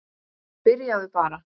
Byrjaðu bara.